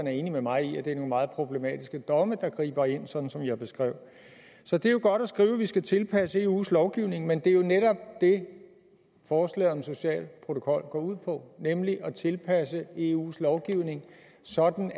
er enig med mig i at det er nogle meget problematiske domme der griber ind sådan som jeg beskrev det så det er godt at skrive at vi skal tilpasse eus lovgivning men det er jo netop det forslaget om social protokol går ud på nemlig at tilpasse eus lovgivning sådan